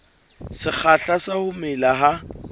sekgahla sa ho mela ha